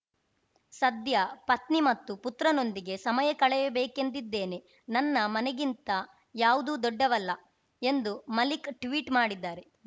ಸದ್ಯ ಪತ್ನಿ ಮತ್ತು ಪುತ್ರನೊಂದಿಗೆ ಸಮಯ ಕಳೆಯಬೇಕೆಂದಿದ್ದೇನೆ ನನ್ನ ಮನೆಗಿಂತ ಯಾವುದೂ ದೊಡ್ಡದಲ್ಲ ಎಂದು ಮಲಿಕ್‌ ಟ್ವೀಟ್‌ ಮಾಡಿದ್ದಾರೆ